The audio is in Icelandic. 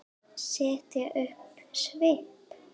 Setja upp svip?